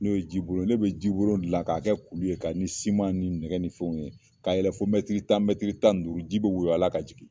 N'o ye jibolon ye ne bɛ jibolon dilan k'a kɛ kulu ye ka ni siman ni nɛgɛ ni fɛnw ye k'a yɛlɛ fɔ tan tan ni duuru ji bɛ woyo a la ka jigin.